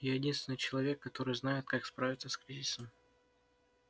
я единственный человек который знает как справиться с кризисом